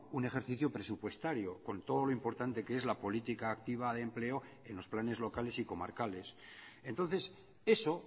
un ejercicio presupuestario con todo lo importante que es la política activa de empleo en los planes locales y comarcales entonces eso